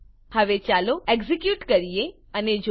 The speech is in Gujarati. હવે ચાલો એક્ઝેક્યુટ કરીએ અને જોઈએ